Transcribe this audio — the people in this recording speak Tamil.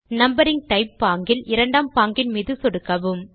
நம்பரிங் டைப் பாங்கில் இரண்டாம் பாங்கின் மீது சொடுக்கலாம்